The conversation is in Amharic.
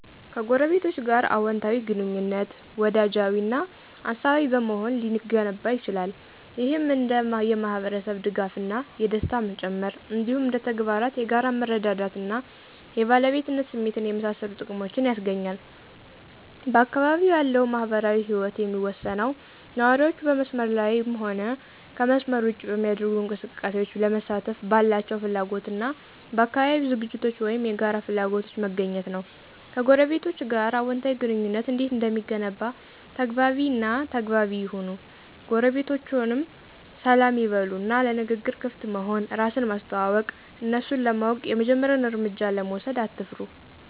ከጎረቤቶች ጋር አወንታዊ ግንኙነት፣ ወዳጃዊ እና አሳቢ በመሆን ሊገነባ ይችላል። ይህም እንደ የማህበረሰብ ድጋፍ እና ደስታ መጨመር፣ እንዲሁም እንደ ተግባራት የጋራ መረዳዳት እና የባለቤትነት ስሜትን የመሳሰሉ ጥቅሞችን ያስገኛል። በአካባቢው ያለው ማህበራዊ ህይወት የሚወሰነው ነዋሪዎቹ በመስመር ላይም ሆነ ከመስመር ውጭ በሚደረጉ እንቅስቃሴዎች ለመሳተፍ ባላቸው ፍላጎት እና በአካባቢያዊ ዝግጅቶች ወይም የጋራ ፍላጎቶች መገኘት ነው። ከጎረቤቶቸ ጋር አዎንታዊ ግንኙነት እንዴት እንደሚገነባ ተግባቢ እና ተግባቢ ይሁኑ ጎረቤቶችዎን ሰላም ይበሉ እና ለንግግር ክፍት መሆን፣ እራስን ማስተዋወቅ፣ እነሱን ለማወቅ የመጀመሪያውን እርምጃ ለመውሰድ አትፍሩ።